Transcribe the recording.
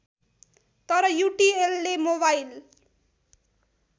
तर युटिएलले मोबाइल